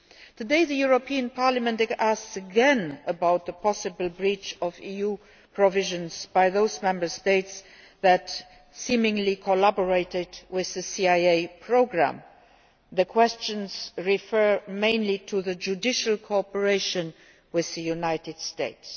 Today the European Parliament is again asking about the possible breach of EU provisions by those Member States that, seemingly, collaborated with the CIA programme. The questions refer mainly to judicial cooperation with the United States.